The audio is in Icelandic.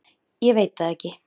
Ég veit það ekki.